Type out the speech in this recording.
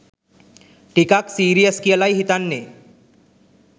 ටිකක් සීරියස් කියලායි හිතෙන්නේ.